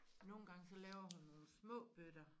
Nogen gange så laver hun nogen små bøtter